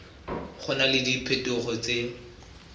go na le diphetogo tse